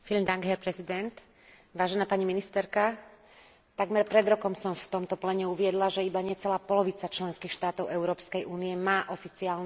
Takmer pred rokom som v tomto pléne uviedla, že iba necelá polovica členských štátov Európskej únie má oficiálne programy presídľovania pre utečencov z tretích krajín.